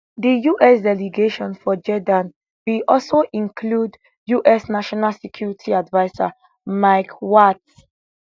di us delegation for jeddah bin also include us national security adviser mike waltz